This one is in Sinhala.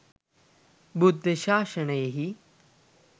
බුද්ධ ශාසනයෙහි